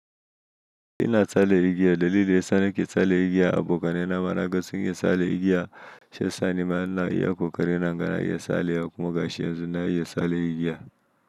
Ina tsalle igiya dalilin daya sanake tsalle igiya abokanai na mana gasun iya tsalle igiya shiya sani mana iya ƙoƙari na inga na iya tsalle kuma ga shi yanzu na iya tsalle igiya.